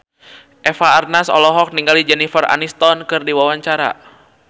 Eva Arnaz olohok ningali Jennifer Aniston keur diwawancara